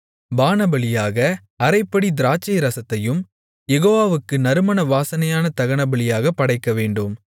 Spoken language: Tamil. பானபலியாக அரைப்படி திராட்சைரசத்தையும் யெகோவாவுக்கு நறுமண வாசனையான தகனபலியாகப் படைக்கவேண்டும்